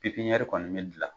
Pipiɲɛri kɔni be gila